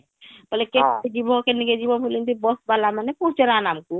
ହଁ ବୋଲେ କେ ଯିବା କେଣକେ ଯିବ ବୋଲି ଏମିତି bus ଵାଲା ମାନେ ପଚାରନ ଆମକୁ